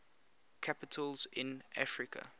capitals in africa